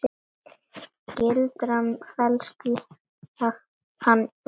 Gildran felst í Hann var.